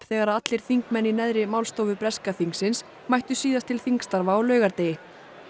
þegar allir þingmenn í neðri málstofu breska þingsins mættu síðast til þingstarfa á laugardegi